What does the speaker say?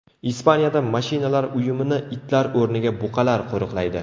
Ispaniyada mashinalar uyumini itlar o‘rniga buqalar qo‘riqlaydi.